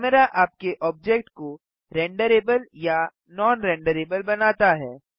camera आपके object को renderable या नॉन रेंडरेबल बनाता है